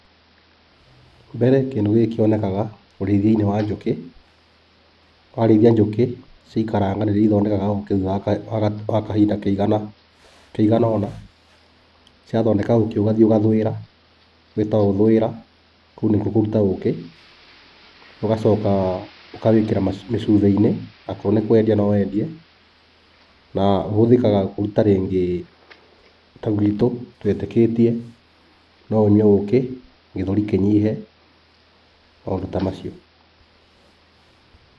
Mbere kĩndũ gĩkĩ kĩonekanaga ũrĩithia-inĩ wa njũkĩ. Warĩithia njũkĩ, ciaikaranga nĩrĩo ithondekaga ũkĩ thutha wa kahinda kaigana ũna. Ciathondeka ũkĩ ugathiĩ ũgathũĩra, gwĩtagwo gũthũĩra; kũu nĩkwo kũruta ũkĩ. Ugacoka ũkawĩkĩra mĩcuba-inĩ. Akorwo nĩ kwendia no wendie. Na ũhũthĩkaga kũruta rĩngĩ, ta gwitũ twĩtĩkĩtie no ũnyue ũkĩ gĩthũri kĩnyihe, maũndũ ta macio.